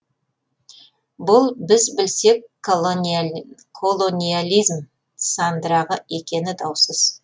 бұл біз білсек колониализм сандырағы екені даусыз